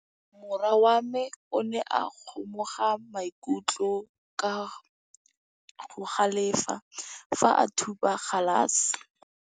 Morwa wa me o ne a kgomoga maikutlo ka go galefa fa a thuba galase.